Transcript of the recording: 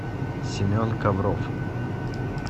семен ковров